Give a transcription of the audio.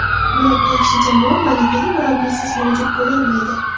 Biroq yaxshi jamoa malakali murabbiysiz mavjud bo‘lolmaydi.